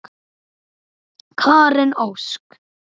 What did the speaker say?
Karen Ósk.